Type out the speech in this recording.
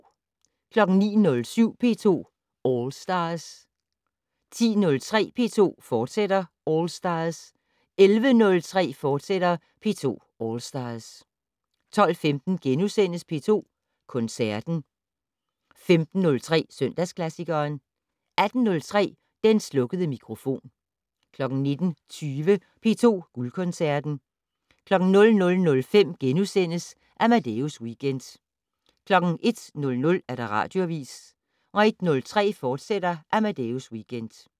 09:07: P2 All Stars 10:03: P2 All Stars, fortsat 11:03: P2 All Stars, fortsat 12:15: P2 Koncerten * 15:03: Søndagsklassikeren 18:03: Den slukkede mikrofon 19:20: P2 Guldkoncerten 00:05: Amadeus Weekend * 01:00: Radioavis 01:03: Amadeus, fortsat